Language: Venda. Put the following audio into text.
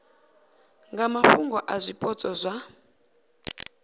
nga mafhungo a zwipotso zwa